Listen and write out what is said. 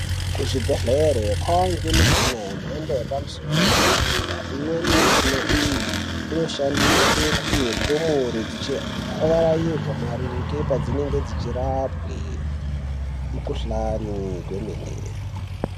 Kuzvibhedhlera kwakuwanikwa mishina yemhando yepamusoro yedera dera imweni yemushina iyi inoshandiswa kupuwa ndumure Dzichivarairwa padzinenge dzichirapwa mikuhlani kwemene.